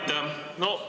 Aitäh!